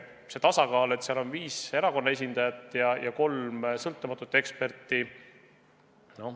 Valitseb tasakaal, kui seal on viis erakonna esindajat ja kolm sõltumatut eksperti.